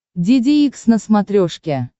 деде икс на смотрешке